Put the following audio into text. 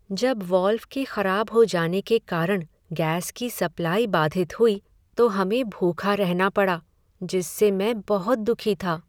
जब वाल्व के खराब हो जाने के कारण गैस की सप्लाई बाधित हुई तो हमें भूखा रहना पड़ा जिससे मैं बहुत दुखी था।